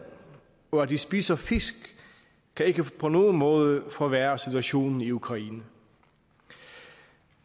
og at de spiser fisk kan ikke på nogen måde forværre situationen i ukraine